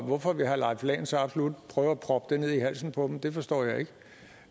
hvorfor vil herre leif lahn jensen så absolut prøve at proppe det ned i halsen på dem det forstår